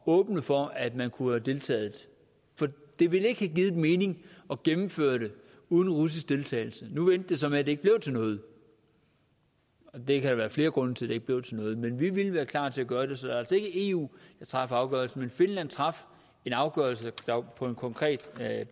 at åbne for at man kunne have deltaget for det ville ikke have givet mening at gennemføre det uden russisk deltagelse nu endte det så med at det ikke blev til noget der kan være flere grunde til at det ikke blev til noget men vi ville være klar til at gøre det så det er altså ikke eu der træffer afgørelsen men finland traf en afgørelse på en konkret